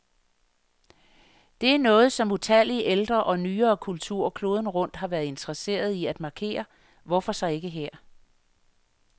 Det er noget, som utallige ældre og nyere kulturer kloden rundt har været interesserede i at markere, hvorfor så ikke her.